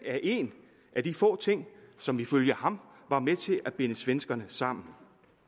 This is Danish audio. er en af de få ting som ifølge ham var med til at binde svenskerne sammen